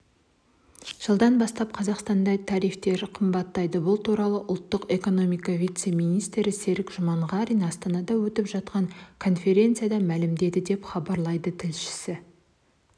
жылдан бастап қазақстанда тарифтер қымбаттайды бұл туралы ұлттық экономика вице-министрі серік жұманғарин астанада өтіп жатқан конференциясында мәлімдеді деп хабарлайды тілшісі